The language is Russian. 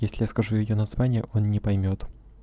если я скажу её название он не поймёт